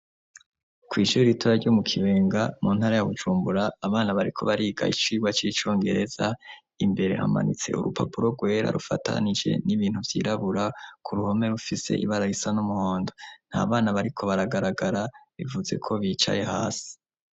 Ku ishuri ritora ryo mu Kibenga mu ntara ya Bujumbura abana bariko bariga iciwa c'icongereza imbere hamanitse urupapuro rwera rufatanije n'ibintu vyirabura ku ruhome rufise ibara risa n'umuhondo ntabana bariko baragaragara bivuze ko bicaye hasi.